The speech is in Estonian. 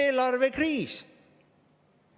Eelarvekriis!